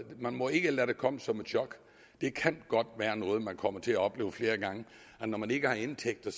man må ikke lade det komme som et chok det kan godt være noget man kommer til at opleve flere gange at når man ikke har indtægter